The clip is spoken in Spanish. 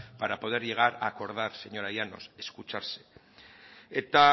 para poder llegar a acordar señora llanos escucharse eta